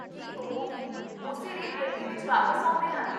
ਕੀ ਉਹ ਵੀ ਉਸੇ ਰੇਲਗੱਡੀ ਵਿੱਚ ਵਾਪਸ ਆਉਂਦੇ ਹਨ?